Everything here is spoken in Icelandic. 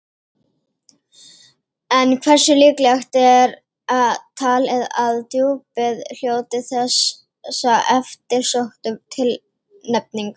En hversu líklegt er talið að Djúpið hljóti þessa eftirsóttu tilnefningu?